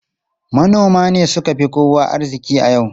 Manoma ne suka fi kowa arziki a yanzu.